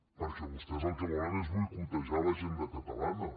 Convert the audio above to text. perquè vostès el que volen és boicotejar l’agenda catalana